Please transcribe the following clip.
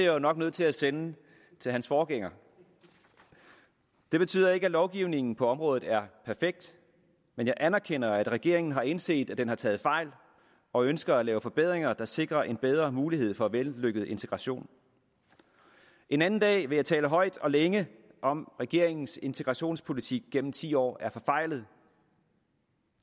jo nok nødt til at sende til hans forgænger det betyder ikke at lovgivningen på området er perfekt men jeg anerkender at regeringen har indset at den har taget fejl og ønsker at lave forbedringer der sikrer en bedre mulighed for vellykket integration en anden dag vil jeg tale højt og længe om at regeringens integrationspolitik gennem ti år er forfejlet